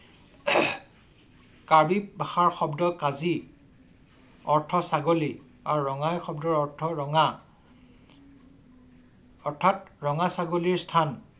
কাৰ্বি পাহাৰ শব্দ কাজি অৰ্থ ছাগলী ‌আৰু ৰঙাই শব্দৰ অৰ্থ ৰঙা অথাত ৰঙা ছাগলীৰ স্থান ।